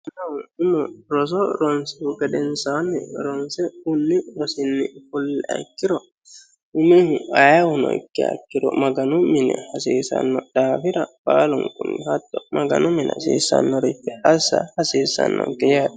mannuu umo roso ronsihu gedensaanni ronse fulli rosinni fulliha ikkiro umihu ayahuno ikke akkiro maganu mini hasiisanno daafira baalunkunni hatto maganu mini hasiissannorii assa hasiissannonke yaate.